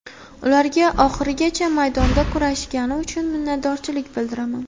Ularga oxirigacha maydonda kurashgani uchun minnatdorchilik bildiraman.